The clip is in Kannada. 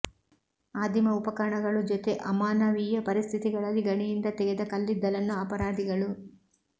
ಆದಿಮ ಉಪಕರಣಗಳು ಜೊತೆ ಅಮಾನವೀಯ ಪರಿಸ್ಥಿತಿಗಳಲ್ಲಿ ಗಣಿಯಿಂದ ತೆಗೆದ ಕಲ್ಲಿದ್ದಲನ್ನು ಅಪರಾಧಿಗಳು